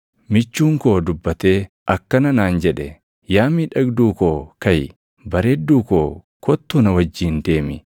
Michuun koo dubbatee akkana naan jedhe; “Yaa miidhagduu koo kaʼi! Bareedduu koo kottuu na wajjin deemi.